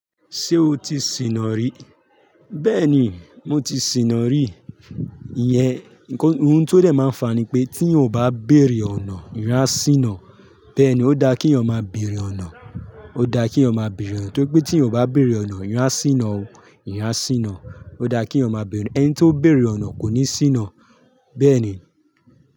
Ṣé o ti sìnà rí? Bẹ́ẹ̀ni, mo ti sìnà rí. Ìyẹn nkan tó dẹ̀ máa ń fa ni pé tí yan o bá bèrè ọ̀nà, èèyàn á sìnà. Bẹ́ẹ̀ ni, ó dá kí èèyàn máa bèrè ọ̀nà. Ó dá kí èèyàn máa bèrè ọ̀nà, tó pé tí èèyàn bá bèrè ọ̀nà, èèyàn á sìnà o, èèyàn á sìnà. Ó dá kí èèyàn máa bèrè, ẹni tó bèrè ọ̀nà kò ní sìnà. Bẹ́ẹ̀ ni.